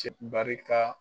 barika.